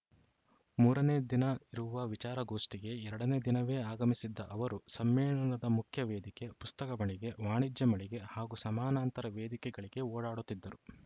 ಮೂರನೇ ದಿನ ಇರುವ ವಿಚಾರಗೋಷ್ಠಿಗೆ ಎರಡನೇ ದಿನವೇ ಆಗಮಿಸಿದ್ದ ಅವರು ಸಮ್ಮೇಳನದ ಮುಖ್ಯ ವೇದಿಕೆ ಪುಸ್ತಕ ಮಳಿಗೆ ವಾಣಿಜ್ಯ ಮಳಿಗೆ ಹಾಗೂ ಸಮಾನಾಂತರ ವೇದಿಕೆಗಳಿಗೆ ಓಡಾಡುತ್ತಿದ್ದರು